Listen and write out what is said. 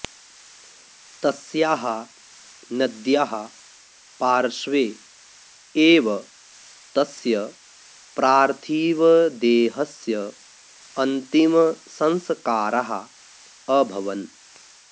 तस्याः नद्याः पार्श्वे एव तस्य प्रार्थिवदेहस्य अन्तिमसंस्काराः अभवन्